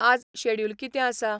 आज शॅड्युल कितें आसा?